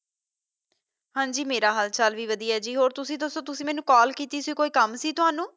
ਹਾਜ਼ੀ ਮੇਰਾ ਹਾਲ ਚਾਲ ਵੀ ਵਦਿਹਾ ਜੀ ਹੋਰ ਤੁਸੀ ਦਸੋ ਜੀ ਤੁਸੀ ਕਾਲ ਕੀਤੀ ਸੀ ਕੋਈ ਕੰਮ ਸੀ ਤੈਨੂੰ